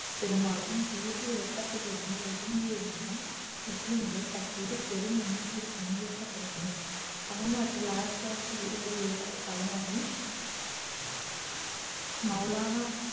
பெருமாலும் தேசிய இயக்கத்தில் இருந்து ஒதுங்கி இருந்தும் முஸ்லிம்கள் தற்போது பெரும் எண்ணிக்கையில் பங்கேற்க தொடங்கினர் தமிழ்நாட்டில் ஆயிரத்து தொள்ளாயிரத்து இருபது ஏப்ரல் பதினாறில் மௌலானா